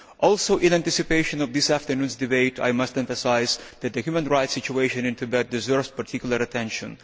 Also, in anticipation of this afternoon's debate, I must emphasise that the human rights situation in Tibet deserves particular attention.